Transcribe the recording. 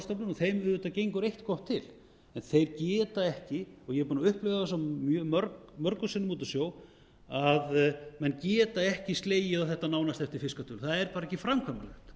og þeim auðvitað gengur gott eitt til en þeir geta ekki og ég er búinn að upplifa það svo mörgum sinnum úti á sjó að menn geta ekki slegið á þetta nánast eftir það er bara ekki framkvæmanlegt